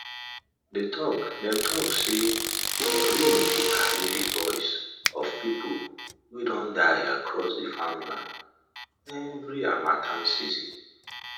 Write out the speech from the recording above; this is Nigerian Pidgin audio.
dem talk sey de wind dey carry de voices of people wey don die across dey farmland every harmattan season